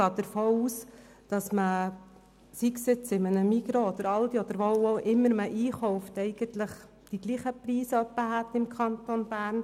Ich gehe davon aus, dass im Migros, im Aldi oder wo immer man einkauft, die Preise im Kanton Bern in etwa gleich sind.